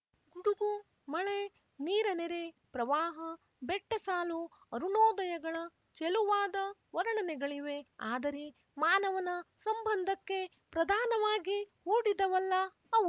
ಗುಡುಗು ಮಳೆ ನೀರನೆರೆ ಪ್ರವಾಹ ಬೆಟ್ಟಸಾಲು ಅರುಣೋದಯಗಳ ಚೆಲುವಾದ ವರ್ಣನೆಗಳಿವೆ ಆದರೆ ಮಾನವನ ಸಂಬಂಧಕ್ಕೆ ಪ್ರಧಾನವಾಗಿ ಹೂಡಿದವಲ್ಲ ಅವು